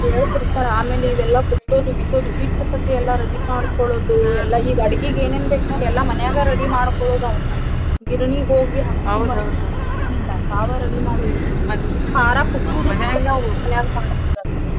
ಹೇಳತೀರ್ತಾರ ಆಮೇಲ ಇವೆಲ್ಲಾ ಕುಟ್ಟೋದು ಬಿಸೋದು ಹಿಟ್ಟ ಸತೇ ಎಲ್ಲಾ ready ಮಾಡ್ಕೊಳೋದು ಈಗ ಎಲ್ಲಾ ಅಡ್ಗಿಗ್ ಏನೇನ್ ಬೇಕ್ ನೋಡ್ ಎಲ್ಲಾ ಮನ್ಯಾಗ ready ಮಾಡ್ಕೊಳೋದ ಅವ್ನ. ಗಿರಣಿಗ ಹೋಗಿ ತಾವೇ ready ಮಾಡುದು .